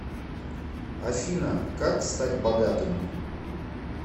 афина как стать богатым